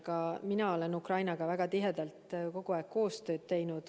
Ka mina olen Ukrainaga väga tihedalt kogu aeg koostööd teinud.